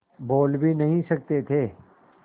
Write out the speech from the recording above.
बोल भी नहीं सकते थे